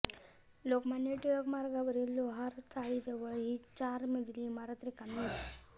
लोकमान्य टिळक मार्गावरील लोहार चाळीजवळ ही चार मजली इमारत रिकामी होती